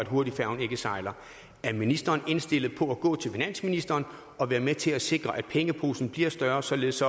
hurtigfærgen ikke sejler er ministeren indstillet på at gå til finansministeren og være med til at sikre at pengeposen bliver større således